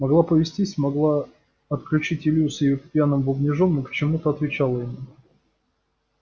могла повесить могла отключить илью с его пьяным бубнежом но почему-то отвечала ему